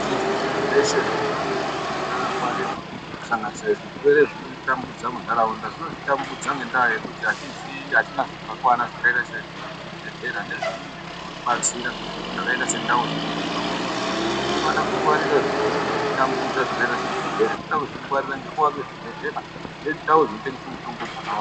Akhiti zviro zveshe zvinofanirwa kunge zvakangwarirwa kusanganisira zvirwere zvinotitambudza mundaraunda, zvinotitambudza ngendaa yekuti atiziyi atina zvakakwana zvakaita sezvibhedhlera nezvimweni zvinotibatsira zvakaita sendau dzinotengeserwa mutombo, tinofanira kungwarira zviro zvinoti tambudza zvakaita sezvirwere tinoda kuzvingwarira nekuwake zvibhedhlera nendau dzinotengese mutombo dzakawanda.